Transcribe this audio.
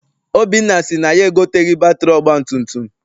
Obinna sị na ya egoteghị batịrị ọgbatumtum.